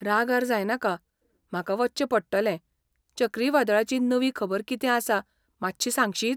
रागार जायनाका, म्हाका वच्चें पडटलें, चक्रीवादळाची नवी खबर कितें आसा मातशी सांगशीत?